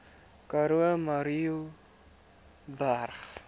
karoo murrayburg